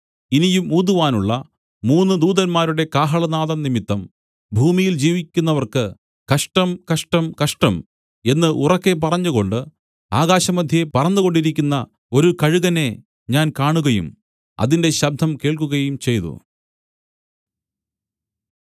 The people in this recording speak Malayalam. ഇനിയും ഊതുവാനുള്ള മൂന്നു ദൂതന്മാരുടെ കാഹളനാദം നിമിത്തം ഭൂമിയിൽ ജീവിക്കുന്നവർക്ക് കഷ്ടം കഷ്ടം കഷ്ടം എന്നു ഉറക്കെ പറഞ്ഞുകൊണ്ട് ആകാശമധ്യേ പറന്നുകൊണ്ടിരിക്കുന്ന ഒരു കഴുകനെ ഞാൻ കാണുകയും അതിന്റെ ശബ്ദം കേൾക്കുകയും ചെയ്തു